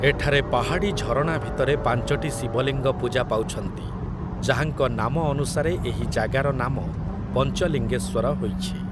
ଏଠାରେ ପାହାଡ଼଼ି ଝରଣା ଭିତରେ ପାଞ୍ଚଟି ଶିବଲିଙ୍ଗ ପୂଜାପାଉଛନ୍ତି, ଯାହାଙ୍କ ନାମ ଅନୁସାରେ ଏହି ଜାଗାର ନାମ ପଞ୍ଚଲିଙ୍ଗେଶ୍ୱର ହୋଇଛି ।